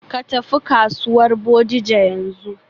Ka tafi kasuwar Bodija yanzu.